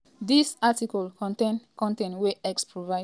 dis article contain con ten t wey x provide.